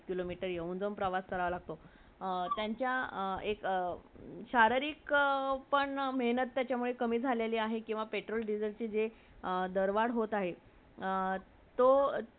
kilometer येऊन - जाऊन प्रवास करायला नको .अ त्यांचा एक शरारीक पण मेहनत त्याच्यामुळे कमी झालेली आहे किवा Petrol , diesel चे जे दरबर होत आहेत तो